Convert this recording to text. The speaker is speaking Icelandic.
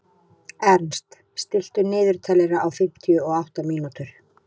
Ernst, stilltu niðurteljara á fimmtíu og átta mínútur.